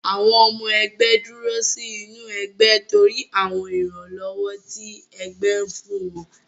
Àwọn ọmọ ẹgbé dúró sí inú ẹgbẹ́ torí àwọn ìrànlọ́wọ́ tí ẹgbẹ́ fún wọn.